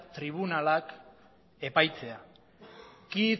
tribunalak epaitzea quid